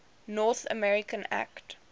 north america act